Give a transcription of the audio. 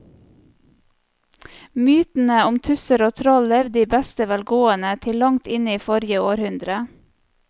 Mytene om tusser og troll levde i beste velgående til langt inn i forrige århundre.